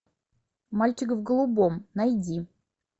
мальчик в голубом найди